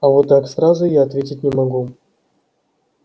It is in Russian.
а вот так сразу я ответить не могу